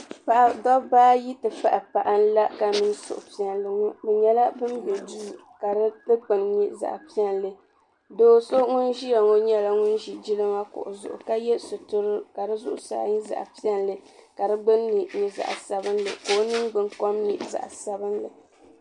Dabba ayi nti pahi paɣa n-la ka niŋ suhu'piɛlli ŋɔ bɛ nyɛla ban be duu ka di dukpuni nyɛ zaɣ'piɛlli do'so ŋun ʒiya ŋɔ nyɛla ŋun ʒi jilima kuɣu zuɣu ka ye sutura ka di zuɣusaa nyɛ zaɣ'piɛlli ka di gbunni nyɛ zaɣ'sabinli ka o ningbunkom nyɛ zaɣ'sabinli.